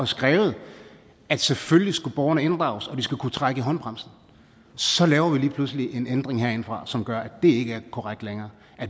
skrevet at selvfølgelig skal borgerne inddrages og de skal kunne trække i håndbremsen så laver vi lige pludselig en ændring herindefra som gør at det ikke er korrekt længere